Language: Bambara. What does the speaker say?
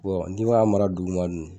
n'i b'a mara duguma dun ?